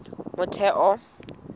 motheo